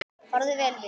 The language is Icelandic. Farðu vel, vinur.